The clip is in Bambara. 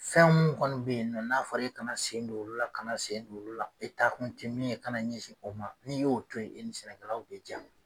Fɛn minnu kɔni bɛ ye nɔ n'a fɔra e kana sen don olu la kana sen don olu la e taa kun tɛ min ye kana ɲɛsin o ma n'i y'o to ye i ni sɛnɛkɛlaw bɛ jaa.